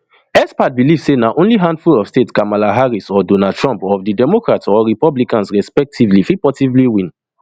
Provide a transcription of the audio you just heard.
expert believe say na only handful of states kamala harris or donald trump of di democrats or republicans respectively fit possibly win